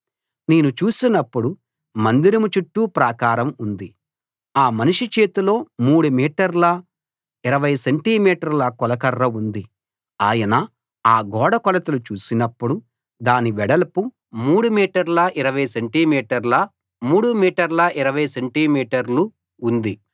నేను చూసినప్పుడు మందిరం చుట్టూ ప్రాకారం ఉంది ఆ మనిషి చేతిలో 3 మీటర్ల 20 సెంటి మీటర్ల కొలకర్ర ఉంది ఆయన ఆ గోడ కొలతలు చూసినప్పుడు దాని వెడల్పు 3 మీటర్ల 20 సెంటి మీటర్ల ఎత్తు 3 మీటర్ల 20 సెంటి మీటర్లు ఉంది